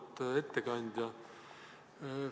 Auväärt ettekandja!